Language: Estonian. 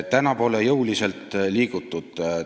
"Täna pole jõuliselt liigutud.